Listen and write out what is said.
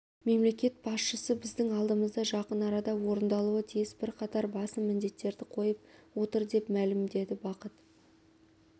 мемлекет басшысы біздің алдымызға жақын арада орындалуы тиіс бірқатар басым міндеттерді қойып отыр деп мәлімдеді бақыт